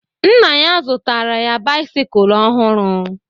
Nna ya zụtara ya bisikul ọhụrụ